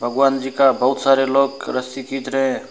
भगवान जी का बहुत सारे लोग रस्सी खींच रहे है।